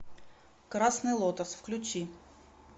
красный лотос включи